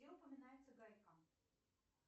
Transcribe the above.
где упоминается гайка